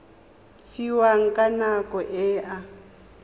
fiwang ka nako e a